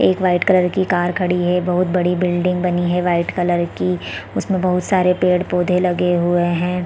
एक white colour की car खड़ी है बहुत बड़ी बिल्डिंग बनी है वाइट कलर की उसमे बहुत सारे पेड़-पौधे लगे हुए है।